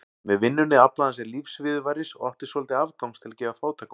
Með vinnunni aflaði hann sér lífsviðurværis og átti svolítið afgangs til að gefa fátækum.